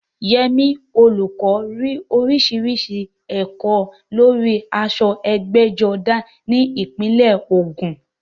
Yemi, olùkọ́, rí oríṣiríṣi èrò lórí aṣọ ẹgbẹ́jọdá ní ìpínlẹ̀ Ògùn.